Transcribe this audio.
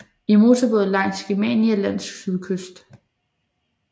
I motorbåd langs Germania Lands sydkyst